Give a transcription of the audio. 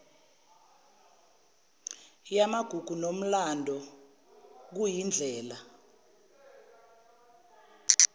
yamagugu nomlando liyindlela